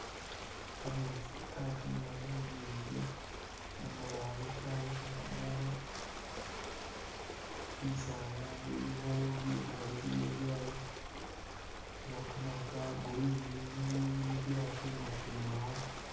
Kameetsi katimila munyinji mumabale kayikha kumukha bisaala bilikho Bikala bya bilikho kamaru ka green binindi bya tumatumakho.